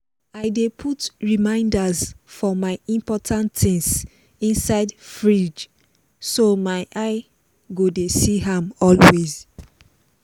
i dey put reminders for my important things inside fridge so my eye go dey see am always